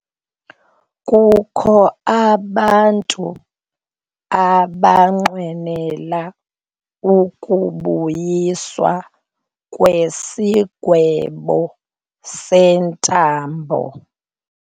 Kukho abantu abanqwenela ukubuyiswa kwesigwebo sentambo.